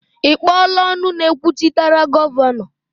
Ị kpọọla ọnụ na-ekwuchitere Gọvanọ?